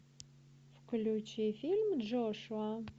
включи фильм джошуа